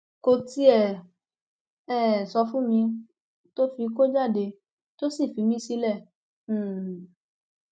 kò tiẹ um sọ fún mi tó fi kó jáde tó sì fi mí sílẹ um